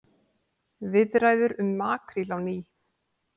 Viðræður um makríl á ný